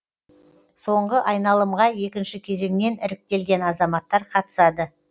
соңғы айналымға екінші кезеңнен іріктелген азаматтар қатысады